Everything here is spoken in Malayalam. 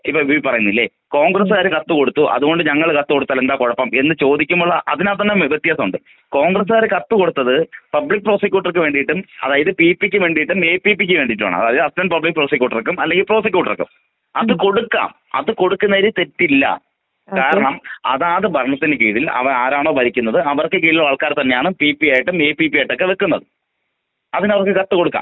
ഇപ്പൊ ഇതില് പറയുന്നില്ലെ? കൊണ്ഗ്രെസ്സ് കാര് കത്ത് കൊടുത്തു. അത് കൊണ്ട് ഞങ്ങള് കത്ത് കൊടുത്താലെന്താ കൊഴപ്പും എന്ന് ചോദിക്കുമ്പോൾ തന്നെ വ്യത്യാസമുണ്ട്.കോൺഗസുകാര് കത്ത് കൊടുത്തത് പബ്ലിക് പ്രോസിക്യൂട്ടർ ക്ക് വേണ്ടീ ട്ടും അതായത് പിപിക്ക് വേണ്ടിട്ടും എപിപി യ്ക്ക് വേണ്ടീട്ടും ആണ്.അതായത്അസ്സിസ്റ്റ് പബ്ലിക് പ്രോസിക്യൂട്ടർക്കും അല്ലെങ്കിൽ പ്രോസിക്യൂട്ടർക്കും അത് കൊടുക്കാം. അത് കൊടുക്കുന്നതിൽ തെറ്റില്ല.കാരണം അതാത് ഭരണത്തിൻ കീഴിൽ അവരാരാണൊ? ഭരിക്കുന്നത് അവർക്ക് കീഴിലുള്ള ആൾക്കാർ തന്നെയാണ് പിപി ആയിട്ടും എപീപി ഒക്കെയായി ട്ടൊക്കെ വെക്കുന്നത്.അതിന് അവര്‍ക്ക് കത്ത് കൊടുക്കാം.